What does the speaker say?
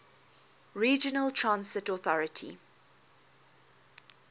regional transit authority